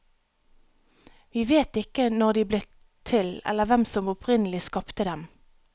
Vi vet ikke når de ble til eller hvem som opprinnelig skapte dem.